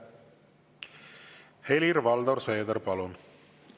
Helir-Valdor Seeder, palun!